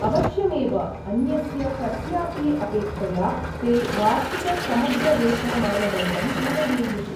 अवश्यमेव, अन्यस्य कस्यापि अपेक्षया ते वार्षिकसमग्रवेतनमानदण्डं पूरयेयुः।